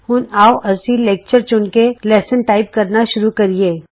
ਹੁਣ ਆਉ ਅਸੀਂ ਲੈਕਚਰ ਚੁਣ ਕੇ ਲੈਸਨ ਟਾਈਪ ਕਰਨਾ ਸ਼ੁਰੂ ਕਰੀਏ